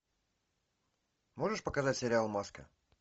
можешь показать сериал маска